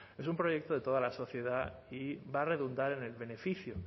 es un proyecto de toda la sociedad y va a redundar en el beneficio